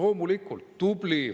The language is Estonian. Tubli!